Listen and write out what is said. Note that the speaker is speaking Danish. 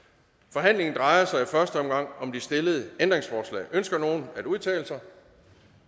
forhandlingen drejer sig i første omgang om de stillede ændringsforslag ønsker nogen at udtale sig